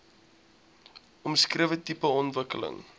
omskrewe tipe ontwikkeling